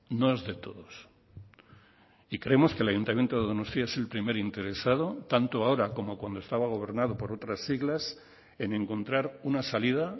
no es de todos y creemos que el ayuntamiento de donostia es el primer interesado tanto ahora como cuando estaba gobernado por otras siglas en encontrar una salida